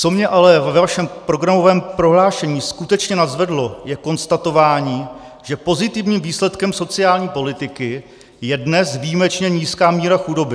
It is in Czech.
Co mě ale ve vašem programovém prohlášení skutečně nadzvedlo, je konstatování, že pozitivním výsledkem sociální politiky je dnes výjimečně nízká míra chudoby.